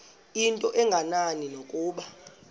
into engenani nokuba